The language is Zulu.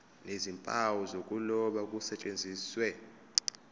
nezimpawu zokuloba kusetshenziswe